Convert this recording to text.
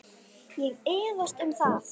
Ég efast um það.